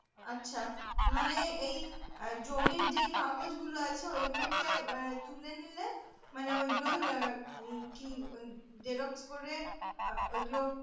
আচ্ছা মানে এই আহ জমির যেই কাগজ গুলো আছে ওই গুলোকে আহ তুলে নিলে মানে ওই গুলোর কি xerox করে ওই গুলো